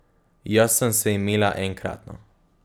Jaz sem se imela enkratno.